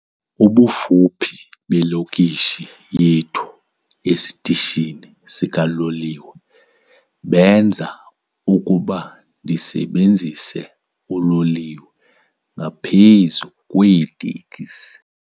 Ubufuphi belokishi yethu esitishini sikaloliwe benza ukuba ndisebenzise uloliwe ngaphezu kweetekisi.